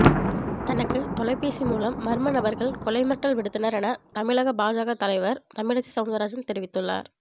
தனக்கு தெலைபேசி மூலம் மர்மநபர்கள் கொலை மிரட்டல் விடுத்தனர் என தமிழக பாஜக தலைவர் தமிழிசை சவுந்தரராஜன் தெரிவித்துள்ளார்